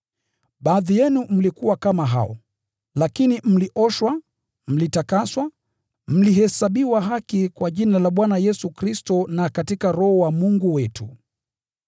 Baadhi yenu mlikuwa kama hao. Lakini mlioshwa, mlitakaswa, mlihesabiwa haki kwa jina la Bwana Yesu Kristo na katika Roho wa Mungu wetu.